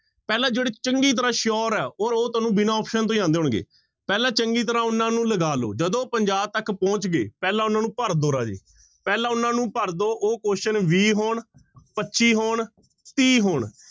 ਪਹਿਲਾਂ ਜਿਹੜੇ ਚੰਗੀ ਤਰ੍ਹਾਂ sure ਹੈ ਔਰ ਉਹ ਤੁਹਾਨੂੰ ਬਿਨਾਂ option ਤੋਂ ਹੀ ਆਉਂਦੇ ਹੋਣਗੇ, ਪਹਿਲਾਂ ਚੰਗੀ ਤਰ੍ਹਾਂ ਉਹਨਾਂ ਨੂੰ ਲਗਾ ਲਓ, ਜਦੋਂ ਪੰਜਾਹ ਤੱਕ ਪਹੁੰਚ ਗਏ, ਪਹਿਲਾਂ ਉਹਨਾਂ ਨੂੰ ਭਰ ਦਓ ਰਾਜੇ, ਪਹਿਲਾਂ ਉਹਨਾਂ ਨੂੰ ਭਰ ਦਓ ਉਹ question ਵੀਹ ਹੋਣ, ਪੱਚੀ ਹੋਣ, ਤੀਹ ਹੋਣ।